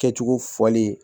Kɛcogo fɔlen